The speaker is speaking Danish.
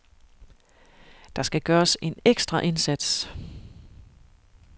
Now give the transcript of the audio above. Der skal gøres en ekstra indsats.